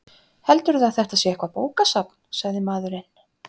Heldurðu að þetta sé eitthvert bókasafn? sagði maðurinn.